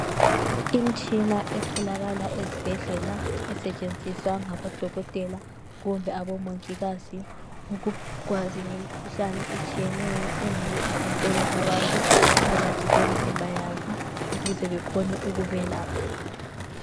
Imitshina etholakala ezibhedlela esetshenziswa ngabodokotela kumbe abomongikazi ukwazi ngemikhuhlane etshiyeneyo engabe ihlasela abantu phakathi kwemizimba yabo ukuze bekhone ukubelapha.